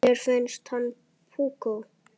Þér finnst hún púkó.